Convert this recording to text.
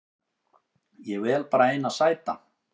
Ég vel bara eina sæta